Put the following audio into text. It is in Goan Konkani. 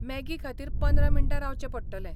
मॅगी खातीर पंदरा मिनटां रावचें पडटलें.